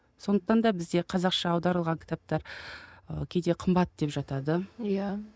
сондықтан да бізде қазақша аударылған кітаптар ы кейде қымбат деп жатады иә